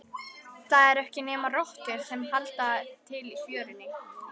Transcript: Það eru ekki nema rottur sem halda til í fjörunni.